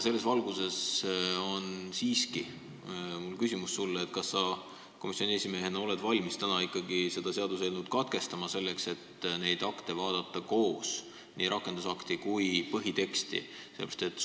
Selles valguses on mul sulle siiski küsimus, kas sa komisjoni esimehena oled valmis täna seda seaduseelnõu lugemist katkestama, selleks et neid akte, nii rakendusakte kui põhiteksti, koos vaadata.